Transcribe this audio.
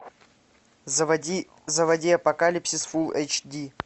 заводи апокалипсис фулл эйч ди